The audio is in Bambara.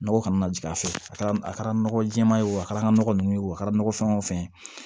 Nɔgɔ kana na jigin a fɛ a kɛra a kɛra nɔgɔ jɛma ye wo a kɛra nɔgɔ ninnu ye wo a kɛra nɔgɔ fɛn o fɛn ye